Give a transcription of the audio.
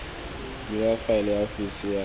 bula faele ya ofisi ya